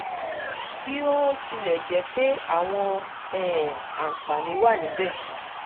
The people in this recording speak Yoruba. bí ó ó tilẹ̀ jẹ́ pé àwọn um àǹfààní wà níbẹ̀